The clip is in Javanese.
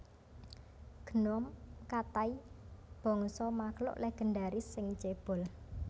Gnome Katai bangsa makhluk legendaris sing cébol